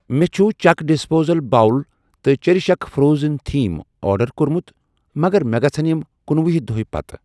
مےٚ چھ چُک ڈِسپوزیبٕل بول تہ چیٚرِش اٮ۪کس فرٛوزٕن تھیٖم آرڈر کوٚرمُت مگر مےٚ گژھَن یِم کنُوُہۍ دۄہۍ پتہٕ۔